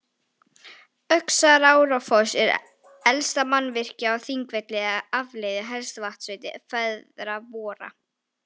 Öxarárfoss er elsta mannvirkið á Þingvelli eða afleiðing elstu vatnsveitu feðra vorra.